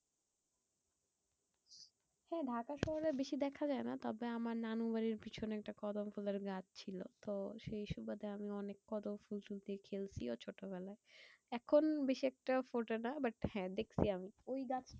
হ্যাঁ ঢাকা শহরে বেশি দেখা যায়না। তবে আমার নানুর বাড়ির পিছনে একটা কদমফুলের আর গাছ ছিল। তো সেই সুবাদে আমি অনেক কদম ফুল দিয়া খেলছি ছোট বেলায়। এখন বেশ একটা ফোটেনা but হ্যাঁ দেখছি আমি